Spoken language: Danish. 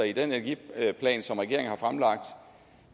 i den energiplan som regeringen har fremlagt